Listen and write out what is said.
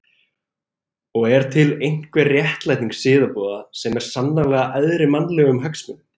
Og er til einhver réttlæting siðaboða sem er sannarlega æðri mannlegum hagsmunum?